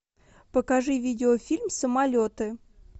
покажи видеофильм самолеты